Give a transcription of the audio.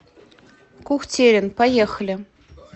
кухтерин поехали